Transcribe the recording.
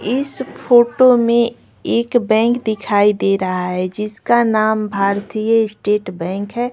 इस फोटो में एक बैंक दिखाई दे रहा है जिसका नाम भारतीय स्टेट बैंक है।